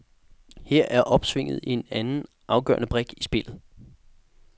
Her er opsvinget en anden afgørende brik i spillet.